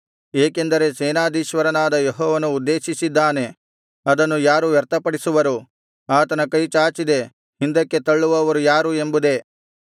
ಏಕೆಂದರೆ ಸೇನಾಧೀಶ್ವರನಾದ ಯೆಹೋವನು ಉದ್ದೇಶಿಸಿದ್ದಾನೆ ಅದನ್ನು ಯಾರು ವ್ಯರ್ಥಪಡಿಸುವರು ಆತನ ಕೈ ಚಾಚಿದೆ ಹಿಂದಕ್ಕೆ ತಳ್ಳುವವರು ಯಾರು ಎಂಬುದೇ